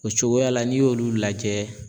O cogoya la n'i y'olu lajɛ